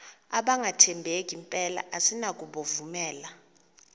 abangathembeki mpela asinakubovumela